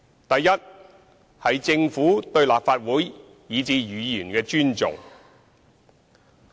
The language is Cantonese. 第一，政府對立法會以至議員的尊重。